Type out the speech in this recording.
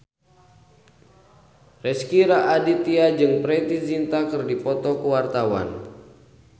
Rezky Aditya jeung Preity Zinta keur dipoto ku wartawan